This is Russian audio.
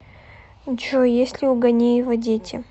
джой есть ли у ганеева дети